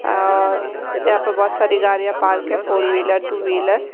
यहां पर बहुत सारी गाड़ियां पार्क के फोर व्हीलर टू व्हीलर